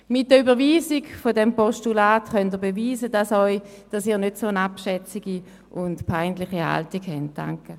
Mit der Überweisung dieses Postulats können Sie beweisen, dass Sie keine solch abschätzige und peinliche Haltung einnehmen.